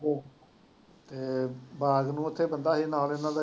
ਹੂੰ ਅਹ ਬਾਗ ਨੂੰ ਉੱਥੇ ਬੰਦਾ ਸੀ, ਨਾਲ ਦੇ ਨਾਲ